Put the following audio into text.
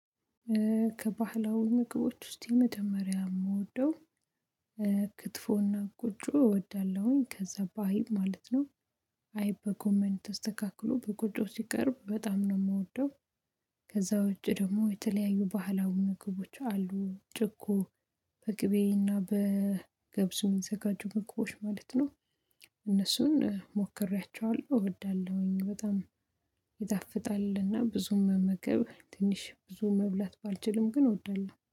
ከባህላዊ ምግቦች ውስጥ መጀመሪያ የምወደው፤ ክትፎና ቆጮ እወዳለሁኝ። ከዛ በአይብ ማለት ነው። አይ በጎመን ተስተካክሎ በቆጮ ሲቀርብ፤ በጣም ነው የምወደው። ከዛ ውጭ ደግሞ የተለያዩ ባህላዊ ምግቦች አሉ። ጭቆ በቅቤና በገብሱ የሚዘጋጁ ግቦች ማለት ነው። እነሱን ሞክሬያቸዋለሁ፤ እወዳለሁኝ በጣም። ይጣፍጣል እና ብዙም መመገብ ትንሽ ብዙ መብላት ባልችልም፤ ግን እወዳለሁ።